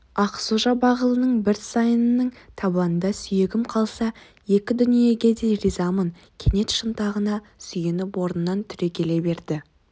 ақсу-жабағылының бір сайының табанында сүйегім қалса екі дүниеге де ризамын кенет шынтағына сүйеніп орнынан түрегеле берді